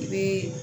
I bɛ